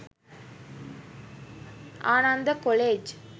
Ananda college